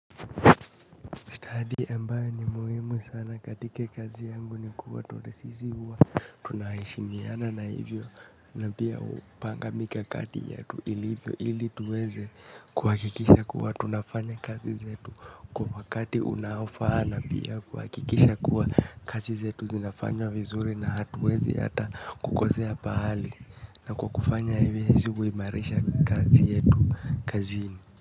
Study ambayo ni muhimu sana katika kazi yangu ni kuwa toresisi huwa tunaheshimiana na hivyo na pia hupanga mikakati yetu ilivyo ili tuweze kuhakikisha kuwa tunafanya kazi zetu kwa wakati unaofaa na pia kuhakikisha kuwa kazi zetu zinafanywa vizuri na hatuwezi hata kukosea pahali na kwa kufanya hivyo sisi huimarisha kazi yetu kazini.